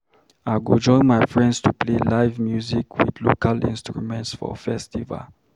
I go join my friends to play live music with local instruments for festival.